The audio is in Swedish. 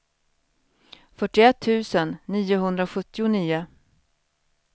fyrtioett tusen niohundrasjuttionio